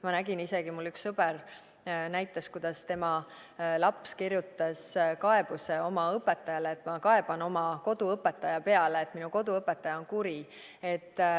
Ma nägin isegi, mulle üks sõber näitas, kuidas tema laps kirjutas kaebuse oma õpetajale, et ma kaeban oma koduõpetaja peale, et minu koduõpetaja on kuri.